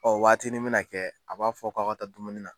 waatinin mɛna kɛ a b'a fɔ k'aw ka taa dumuni na.